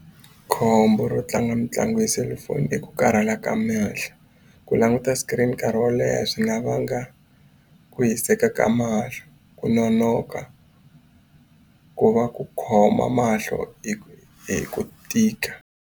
Khombo ro tlanga mitlangu ya selifoni i ku karhala ka mehlo. Ku languta screen nkarhi wo leha swi nga vanga ku hiseka ka mahlo, ku nonoka, ku va ku khoma mahlo hi ku tika.